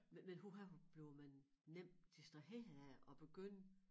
Men huha hvor blev man nemt distraheret af at begynde